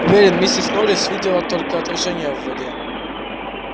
уверен миссис норрис видела только отражение в воде